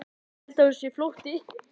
Held að hún sé flótti.